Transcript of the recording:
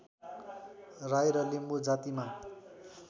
राई र लिम्बू जातिमा